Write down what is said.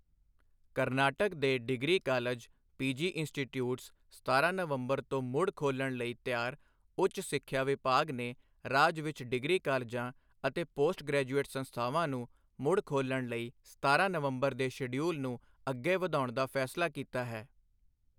ਕਰਨਾਟਕ ਦੇ degree college, PG institutes ਸਤਾਰਾਂ ਨਵੰਬਰ ਤੋਂ ਮੁੜ ਖੋਲ੍ਹਣ ਲਈ ਤਿਆਰ ਉੱਚ ਸਿੱਖਿਆ ਵਿਭਾਗ ਨੇ ਰਾਜ ਵਿੱਚ ਡਿਗਰੀ ਕਾਲਜਾਂ ਅਤੇ ਪੋਸਟ ਗ੍ਰੈਜੂਏਟ ਸੰਸਥਾਵਾਂ ਨੂੰ ਮੁੜਖੋਲਣ ਲਈ ਸਤਾਰਾਂ ਨਵੰਬਰ ਦੇ ਸ਼ਡਿਊਲ ਨੂੰ ਅੱਗੇ ਵਧਾਉਣ ਦਾ ਫੈਸਲਾ ਕੀਤਾ ਹੈ।